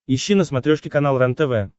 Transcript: ищи на смотрешке канал рентв